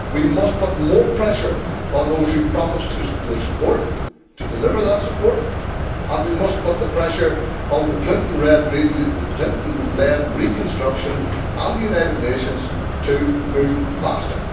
We must put more pressure on those who promised their support to deliver that support, and we must put pressure on the Clinton led reconstruction, and the United Nations, to move faster.